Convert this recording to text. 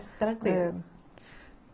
tranquilo.